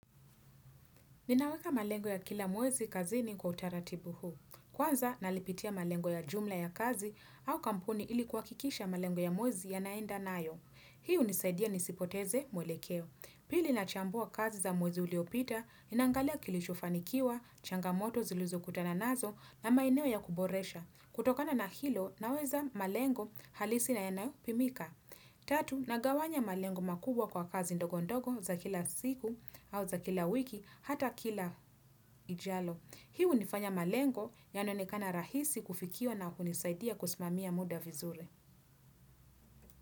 Ninaweka malengo ya kila mwezi kazini kwa utaratibu huu. Kwanza, nalipitia malengo ya jumla ya kazi au kampuni ili kuhakikisha malengo ya mwezi yanaenda nayo. Hii hunisaidia nisipoteze mwelekeo. Pili nachambua kazi za mwezi uliopita, ninaangalia kilichofanikiwa, changamoto zilizokutana nazo na maeneo ya kuboresha. Kutokana na hilo, naweza malengo halisi na yanayopimika. Tatu, nagawanya malengo makubwa kwa kazi ndogondogo za kila siku au za kila wiki hata kila ijalo. Hii hunifanya malengo yanaonekana rahisi kufikiwa na kunisaidia kusimamia muda vizuri.